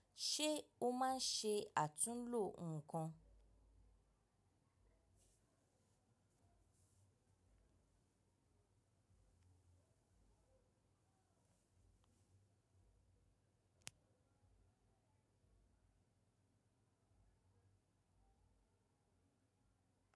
Ṣé o máa ṣe àtúnlò ǹkan?